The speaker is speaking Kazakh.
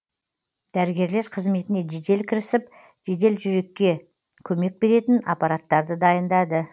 дәрігерлер қызметіне жедел кірісіп жедел жүрекке көмек беретін аппараттарды дайындады